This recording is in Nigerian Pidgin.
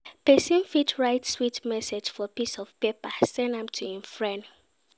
Persin fit write sweet message for piece of paper send am to im friend